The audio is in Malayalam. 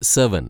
സെവൻ